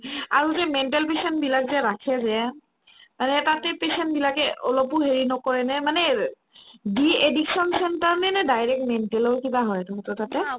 আৰু যে mental patient বিলাক যে ৰাখে যে আৰে তাতে patient বিলাকে অলপো হেৰি নকৰে নে মানে এ de-addiction centre নেনে direct mental ৰ কিবা হয় এইটো বোধই তাতে